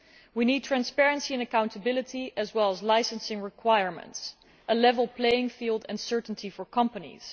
We need transparency and accountability as well as licensing requirements, a level playing field and certainty for companies.